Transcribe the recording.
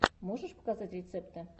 можешь показать рецепты